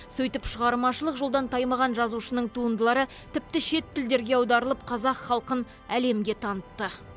сөйтіп шығармашылық жолдан таймаған жазушының туындылары тіпті шет тілдерге аударылып қазақ халқын әлемге танытты